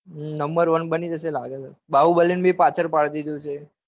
number one બની જશે લાગસ. બાહુબલી ન બી પાસડ પાડ દીધુ છે.